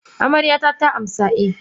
Amaryata ta amsa eh.